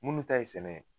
Munnu ta ye sɛnɛ ye